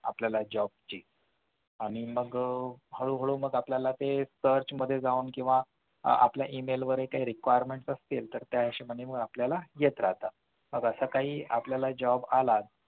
आपल्याला job ची आणि मग हळू हळू मग आपल्याला ते search मध्ये जावून किंवा आपल्या Email वर काही requirements असतील तर त्या हिशोबाने ते आपल्याला येत राहतात मग असं काही आपल्याला job आलाच